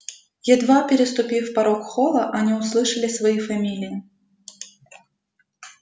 едва переступив порог холла они услышали свои фамилии